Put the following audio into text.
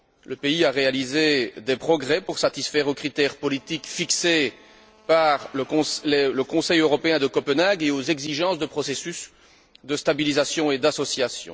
Le pays a réalisé des progrès pour satisfaire aux critères politiques fixés par le Conseil européen de Copenhague et aux exigences du processus de stabilisation et d'association.